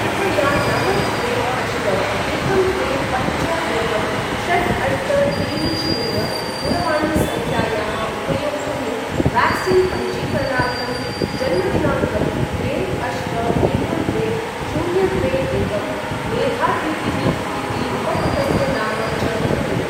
कृपया नव द्वे अष्ट एकं द्वे पञ्च एकं षट् अष्ट त्रीणि शून्य दूरवाणीसङ्ख्यायाः उपयोक्तुः व्याक्सीन् पञ्जीकरणार्थं जन्मदिनाङ्कं द्वे अष्ट एकं द्वे शून्य द्वे एकं, मेधातिथिः इति उपकृतस्य नाम च पूरय।